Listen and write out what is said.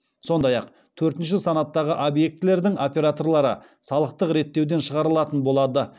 сондай ақ төртінші санаттағы объектілердің операторлары салықтық реттеуден шығарылатын болады